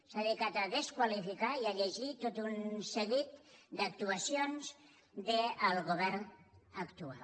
s’ha dedicat a desqualificar i a llegir tot un seguit d’actuacions del govern actual